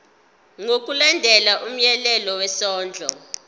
ngokulandela umyalelo wesondlo